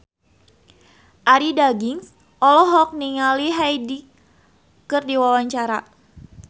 Arie Daginks olohok ningali Hyde keur diwawancara